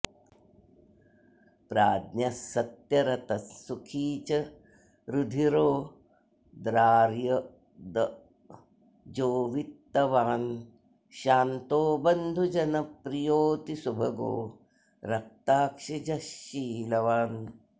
प्राज्ञः सत्यरतः सुखी च रुधिरोद्रार्यब्दजो वित्तवान् शान्तो बन्धुजनप्रियोऽतिसुभगो रक्ताक्षिजः शीलवान्